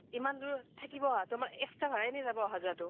ইমান দুৰ থাকিব আহাতো আমাৰ extra ভাড়া তো এনেই যাব অহা যোৱা তো ।